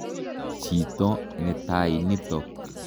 Chito netai nitok.